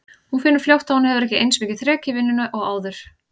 Hún finnur fljótt að hún hefur ekki eins mikið þrek í vinnunni og áður.